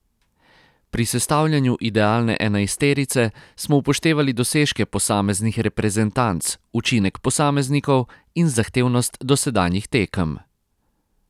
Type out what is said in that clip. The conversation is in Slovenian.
Pri sestavljanju idealne enajsterice smo upoštevali dosežke posameznih reprezentanc, učinek posameznikov in zahtevnost dosedanjih tekem.